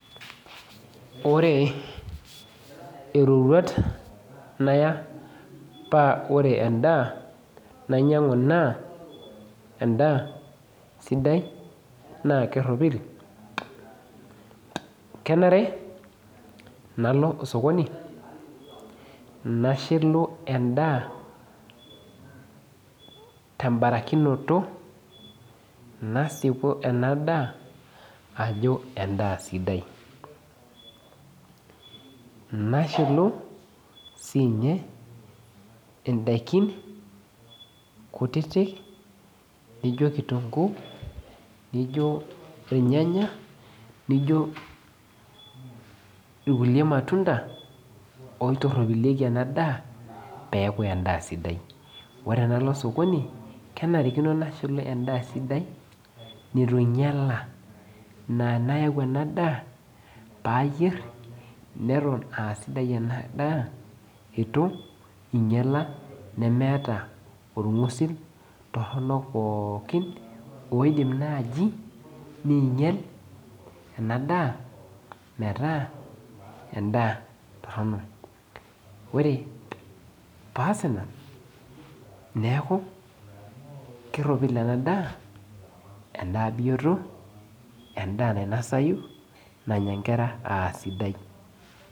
Ore iroruat naya oa ore endaa nainyangu na endaa sidai nakeropil kenare nalo osokoni nashilu endaa tembarikinoto nasipu ena daa ajo endaa sidai nashilu sinye ndakini kutitik nijo kitunguu, irnyanya nijo irkulie matunda oitoropiliekj endaa leaku endaa sidai ore Paalo osokoni kenarinikoi nashilu endaa sidai na anayau enadaa payier naton aa sidai enadaa nemeeta orngusil toronok pookin oidim nai nimgel metaa endaa toronok ore peas ina neaku kebioto endaa nanya nkera esidai.